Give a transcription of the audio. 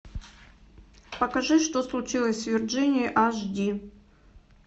покажи что случилось с вирджинией аш ди